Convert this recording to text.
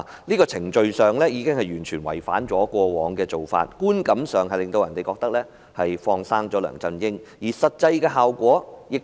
這程序已經完全違反過往的做法，予人的感覺是"放生"梁振英，而實際的效果亦如此。